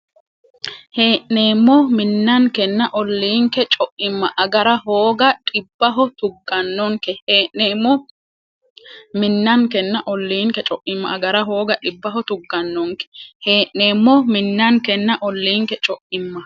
Hee’neemmo minnankenna olliinke co’imma agara hooga dhibbaho tuggannonke Hee’neemmo minnankenna olliinke co’imma agara hooga dhibbaho tuggannonke Hee’neemmo minnankenna olliinke co’imma.